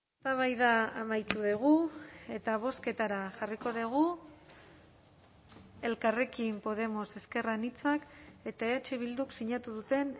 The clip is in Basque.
eztabaida amaitu dugu eta bozketara jarriko dugu elkarrekin podemos ezker anitzak eta eh bilduk sinatu duten